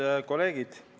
Head kolleegid!